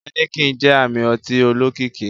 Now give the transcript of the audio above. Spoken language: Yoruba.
Heineken jẹ ami ọti olokiki.